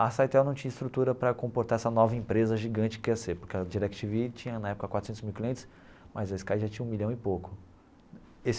A Cytel não tinha estrutura para comportar essa nova empresa gigante que ia ser, porque a Direc Tí Ví tinha na época quatrocentos mil clientes, mas a Sky já tinha um milhão e pouco.